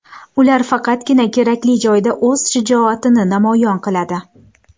Ular faqatgina kerakli joyda o‘z shijoatini namoyon qiladi.